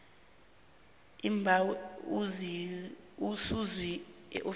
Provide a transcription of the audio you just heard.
umbawi ususiwe eofisini